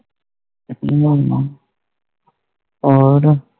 ਹਮ ਹੋਰ